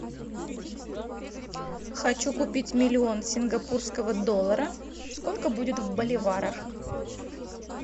хочу купить миллион сингапурского доллара сколько будет в боливарах